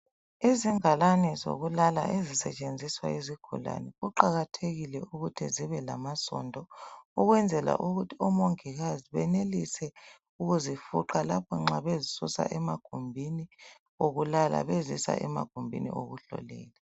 Izingalani zokulala ezisetshenziswa yizigulane kuqakathekile ukuthi zibe lamasondo ukwenzela ukuthi omongikazi benelise ukuzifuqa lapho nxa bezisusa emagumbini okulala bezisa emagumbini okuhlolela.